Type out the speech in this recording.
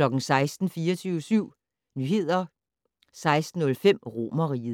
16:00: 24syv Nyheder 16:05: Romerriget